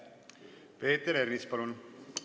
Peeter Ernits, palun!